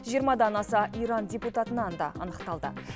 жиырмадан аса иран депутатынан да анықталды